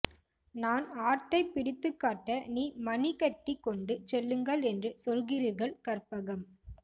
நான் ஆட்டை பிடித்துக்காட்ட நீ மணி கட்டி கொண்டு செல்லுங்கள் என்று சொல்கிறீர்கள் கற்பகம்